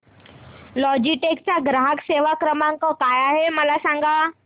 Logitech चा ग्राहक सेवा क्रमांक काय आहे मला सांगा